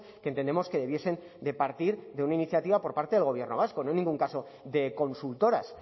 que entendemos que debiesen de partir de una iniciativa por parte del gobierno vasco no en ningún caso de consultoras